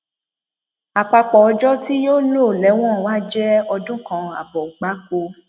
àpapọ ọjọ tí yóò lò lẹwọn wàá jẹ ọdún kan ààbọ gbáko